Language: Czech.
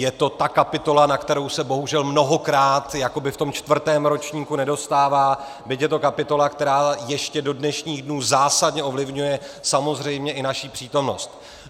Je to ta kapitola, na kterou se bohužel mnohokrát jakoby v tom čtvrtém ročníku nedostává, byť je to kapitola, která ještě do dnešních dnů zásadně ovlivňuje samozřejmě i naši přítomnost.